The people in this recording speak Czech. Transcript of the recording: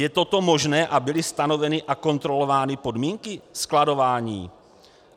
Je toto možné a byly stanoveny a kontrolovány podmínky skladování?